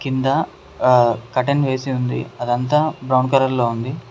కింద ఆ కర్టన్ వేసి ఉంది అదంతా బ్రౌన్ కలర్ లో ఉంది.